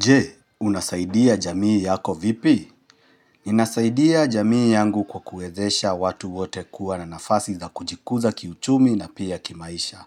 Je, unasaidia jamii yako vipi? Ninasaidia jamii yangu kwa kuezesha watu wote kuwa na nafasi za kujikuza kiuchumi na pia kimaisha.